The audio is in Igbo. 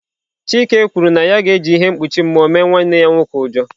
Chika kwuru na ya ga-eji ihe mkpuchi mmụọ mee nwanne ya nwoke ụjọ.